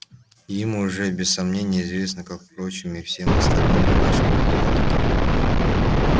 им уже без сомнения известно как впрочем и всем остальным о нашем позоре